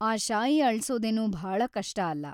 ಆ ಶಾಯಿ ಅಳ್ಸೋದೇನು ಭಾಳ ಕಷ್ಟ ಅಲ್ಲ.